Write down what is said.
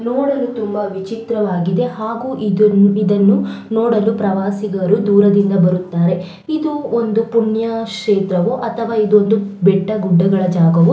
ನೋಡಲು ತುಂಬ ವಿಚಿತ್ರವಾಗಿದೆ ಹಾಗು ಇದನ್ನು ನೋಡಲು ಪ್ರವಾಸಿಗರು ದೂರದಿಂದ ಬರುತ್ತಾರೆ ಇದು ಒಂದು ಪುಣ್ಯ ಕ್ಷೇತ್ರವು ಅಥವಾ ಇದು ಒಂದು ಬೆಟ್ಟ ಗುಡ್ಡದ ಜಾಗವು --